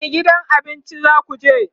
wani gidan abincin zakuje?